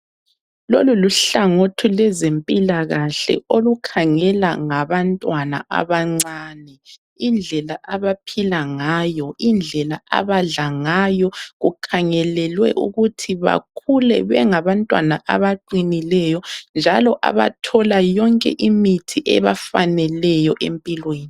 Lolu luhlangothi lwezimpilakahle olukhangela ngabantwana abancane indlela abaphila ngayo indlela abadla ngayo kukhangelelwe ukuthi bakhule bengabantwana abaqinileyo njalo abathola yonke imithi ebafaneleyo empilweni.